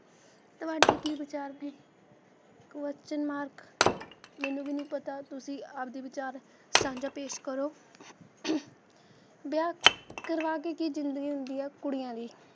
ਤੁਹਾਡੇ ਕੀ ਵਿਚਾਰ ਨੇ question mark ਮੈਨੂੰ ਵੀ ਨਹੀਂ ਪਤਾ ਤੁਸੀ ਆਪਦੇ ਵਿਚਾਰ ਸਾਂਝਾ ਪੇਸ਼ ਕਰੋ ਵਿਆਹ ਕਰਵਾ ਕੇ ਕੀ ਜਿੰਦਗੀ ਹੁੰਦੀ ਏ ਕੁੜੀਆਂ ਦੀ,